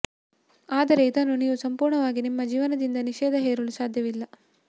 ಆದರೆ ಇದನ್ನು ನೀವು ಸಂಪೂರ್ಣವಾಗಿ ನಿಮ್ಮ ಜೀವನದಿಂದ ನಿಷೇಧ ಹೇರಲು ಸಾಧ್ಯವಿಲ್ಲ